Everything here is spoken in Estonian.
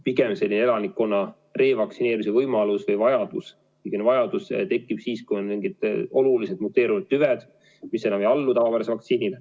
Pigem selline elanikkonna revaktsineerimise vajadus tekib siis, kui on mingid oluliselt muteerunud tüved, mis enam ei allu tavapärasele vaktsiinile.